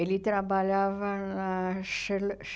Ele trabalhava na Charle